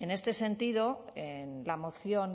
en este sentido en la moción